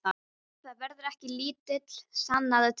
Það verður ekki lítið, sannaðu til.